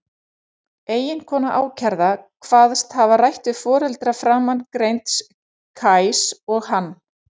Eiginkona ákærða kvaðst hafa rætt við foreldra framangreinds Kajs og hann.